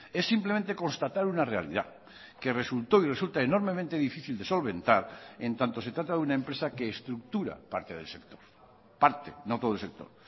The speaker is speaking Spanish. es simplemente constatar una realidad que resultó y resulta enormemente difícil de solventar en tanto se trata de una empresa que estructura parte del sector parte no todo el sector